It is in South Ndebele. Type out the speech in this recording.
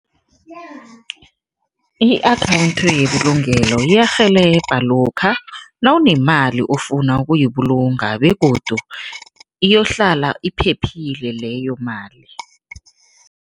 I-akhawundi yebulugelo iyarhelebha lokha nawunemali ofuna ukuyibulunga begodu iyohlala iphephile leyo mali.